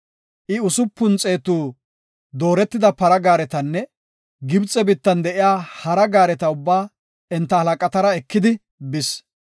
I usupun xeetu dooretida para gaaretanne Gibxe biittan de7iya hara gaareta ubbaa enta halaqatara ekidi bis.